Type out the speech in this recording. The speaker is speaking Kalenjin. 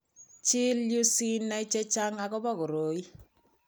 Chil yu sinai chechang' akobo koroi.